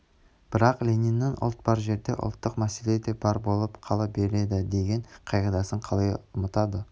бірақ лениннің ұлт бар жерде ұлттық мәселе де бар болып қала береді деген қағидасын қалай ұмытады